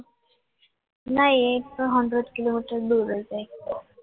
ના એ તો hundred કિલોમીટર દૂર હશે